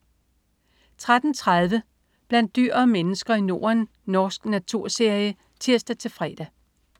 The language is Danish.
13.30 Blandt dyr og mennesker i Norden. Norsk naturserie (tirs-fre)